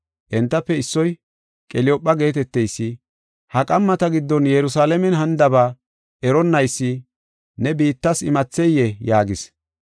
Entafe issoy Qeliyoophe geeteteysi, “Ha qammata giddon Yerusalaamen hanidaba eronnaysi, ne biittas imatheyee?” yaagis.